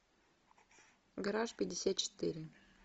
гараж пятьдесят четыре